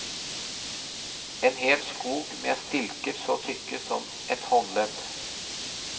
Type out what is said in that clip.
En hel skog med stilker så tykke som et håndledd.